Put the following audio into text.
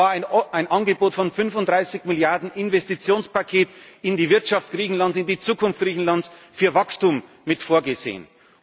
Es war ein Angebot über ein 35 Milliarden Investitionspaket in die Wirtschaft Griechenlands, in die Zukunft Griechenlands, für Wachstum mit vorgesehen.